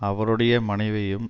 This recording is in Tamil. அவருடைய மனைவியையும்